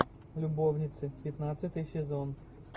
любовницы пятнадцатый сезон